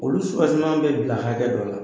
Olu bɛ bila hakɛ dɔ la